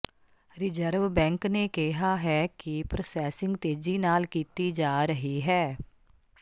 reserve bank ਨੇ ਕਿਹਾ ਹੈ ਕਿ ਪ੍ਰੋਸੈਸਿੰਗ ਤੇਜੀ ਨਾਲ ਕੀਤੀ ਜਾ ਰਹੀ ਹੈ